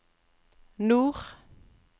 nord